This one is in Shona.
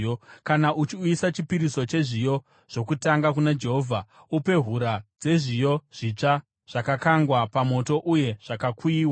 “ ‘Kana uchiuyisa chipiriso chezviyo zvokutanga kuna Jehovha upe hura dzezviyo zvitsva zvakakangwa pamoto uye zvakakuyiwa.